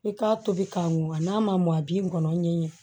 I k'a tobi k'a mɔn n'a ma mɔ a b'i ŋɔnɔ ɲɛɲe